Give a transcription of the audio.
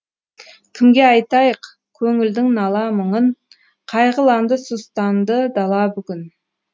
кімге айтайық көңілдің нала мұңын қайғыланды сұстанды дала бүгін